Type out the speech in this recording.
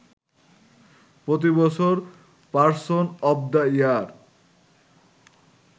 প্রতিবছর person of the year